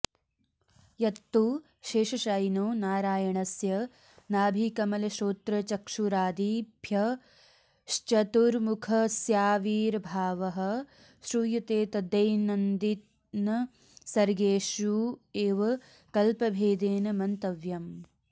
यत्तु शेषशायिनो नारायणस्य नाभिकमलश्रोत्रचक्षुरादिभ्यश्चतुर्मुखस्याविर्भावः श्रूयते तद्दैनन्दिनसर्गेष्वेव कल्पभेदेन मन्तव्यम्